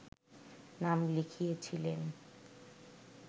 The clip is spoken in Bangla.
নাম লিখিয়েছিলেন